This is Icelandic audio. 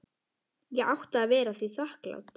Ég átti að vera því þakklát.